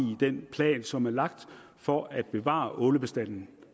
den plan som er lagt for at bevare ålebestanden